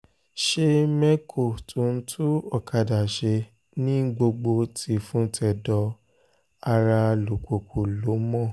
ṣe mẹ́kọ́ tó ń tún ọ̀kadà ṣe ní gbogbo tìfun-tẹ̀dọ̀ ará alùpùpù ló mọ̀